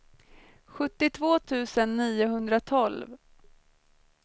sjuttiotvå tusen niohundratolv